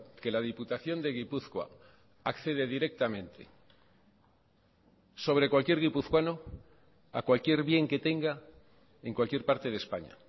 que la diputación de gipuzkoa accede directamente sobre cualquier guipuzcoano a cualquier bien que tenga en cualquier parte de españa